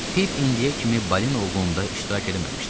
Pip indiyə kimi balina ovunda iştirak eləməmişdi.